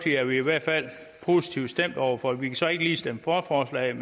er vi i hvert fald positivt stemt over for vi kan så ikke lige stemme for forslaget